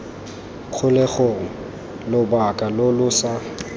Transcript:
kgolegelong lobaka lo lo sa